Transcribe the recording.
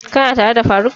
Ka na tare da faruk?